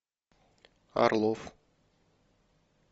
орлов